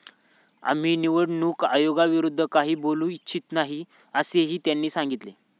आम्ही निवडणूक आयोगाविरोधात काही बोलू इच्छित नाही, असेही त्यांनी सांगितले.